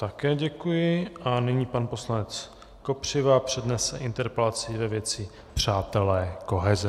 Také děkuji a nyní pan poslanec Kopřiva přednese interpelaci ve věci Přátelé koheze.